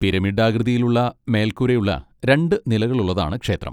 പിരമിഡാകൃതിയിലുള്ള മേൽക്കൂരയുള്ള രണ്ട് നിലകളുള്ളതാണ് ക്ഷേത്രം.